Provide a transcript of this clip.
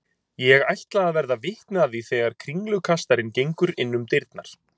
Ég ætla að verða vitni að því þegar kringlukastarinn gengur innum dyrnar.